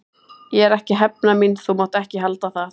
Ég er ekki að hefna mín, þú mátt ekki halda það.